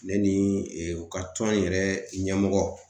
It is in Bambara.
Ne ni e u ka tɔn yɛrɛ ɲɛmɔgɔ